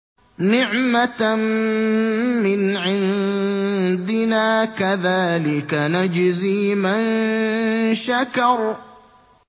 نِّعْمَةً مِّنْ عِندِنَا ۚ كَذَٰلِكَ نَجْزِي مَن شَكَرَ